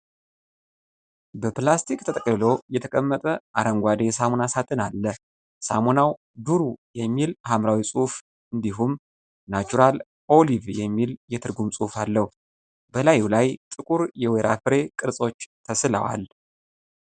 በፕላስቲክ ተጠቅልሎ የተቀመጠ አረንጓዴ የሳሙና ሳጥን አለ። ሳሙናው 'ዱሩ' የሚል ሐምራዊ ጽሑፍ እንዲሁም 'ናቹራል ኦሊቭ' የሚል የትርጉም ጽሑፍ አለው። በላዩ ላይ ጥቁር የወይራ ፍሬ ቅርጾች ተስለዋል።